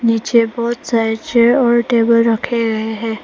पीछे बहोत सारे चेयर और टेबल रखे गए हैं।